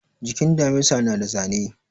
Jikin damisa na da zane